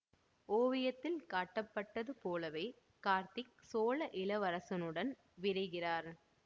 ஓவியத்தில் காட்டப்பட்டது போலவே கார்த்திக் சோழ இளவரசனுடன் விரைகிறார்